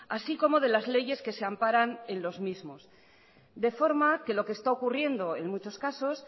así como de las leyes que se amparan en los mismos de forma que lo que está ocurriendo en muchos casos